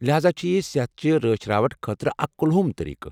لہاذا چھ یہ صحتہٕ چہِ رٲچھ راوٹھٕ خٲطرٕ اکھ کلہم طٔریقہٕ۔